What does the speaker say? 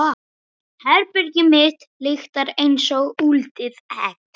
Herbergið mitt lyktar einsog úldið egg.